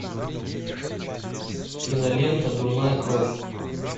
кинолента дурная кровь